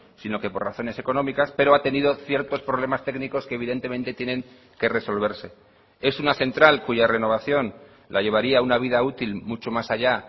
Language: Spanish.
sino que por razones económicas pero ha tenido ciertos problemas técnicos que evidentemente tienen que resolverse es una central cuya renovación la llevaría a una vida útil mucho más allá